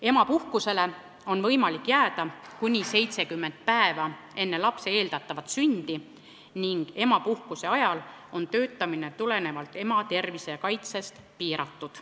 Emapuhkusele on võimalik jääda kuni 70 päeva enne lapse eeldatavat sündi ning emapuhkuse ajal on tulenevalt ema tervise kaitsest töötamine piiratud.